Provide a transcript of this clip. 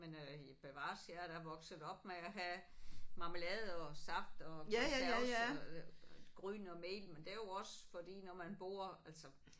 Men øh bevares jeg er da vokset op med at have marmelade og saft og konserves og gryn og mel men det er jo også fordi når man bor altså